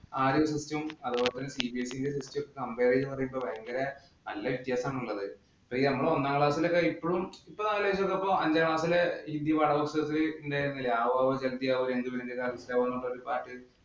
ആ ഒരു system ഉം, അതുപോലെ CBSE ന്‍റെ system ഉം compare ചെയ്യുമ്പോള്‍ ഭയങ്കര നല്ല വ്യത്യാസമാണ് ഉള്ളത്. ദാ നമ്മടെ ഒന്നാം class ഇന്‍റെ ഒക്കെ ഇപ്പളും ഇപ്പം ദാ രാവിലെ നോക്കിയപ്പോ അഞ്ചാം class ഇലെ ഹിന്ദി പാഠപുസ്തകത്തില് ഉള്ള ഒരു പാട്ട്